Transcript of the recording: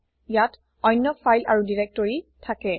ইয়াত অন্য ফাইল আৰু দিৰেক্তৰি থাকে